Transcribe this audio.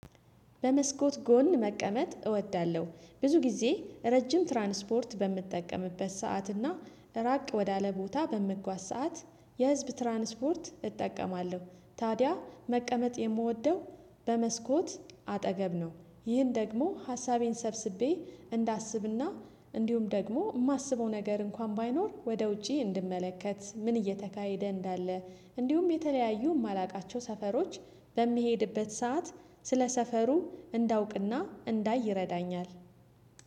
በመስኮት ጎን መቀመጥ እወዳለሁ ብዙ ጊዜ ረጅም ትራንስፖርት በምጠቀምበት ሰዓት እና ራቅ ወዳለ ቦታ በምጓዝ ሰዓት የህዝብ ትራንስፖርት እጠቀማለሁ ታዲያ መቀመጥ የምወደው በመስኮት አጠገብ ነው። ይህን ደግሞ ሀሳቤን ሰብስቤ እንዳስብና እንዲሁም ደግሞ የማስበው ነገር እንኳን ባይኖር ወደ ውጪ እንድመለከት ምን እየተካሄደ እንዳለ። እንዲሁም የተለያዩ የማላውቃቸው ሰፈሮች በሚሄድበት ሰዓት ስለ ሰፈሩ እንዳውቅና እንዳይ ይረዳኛል።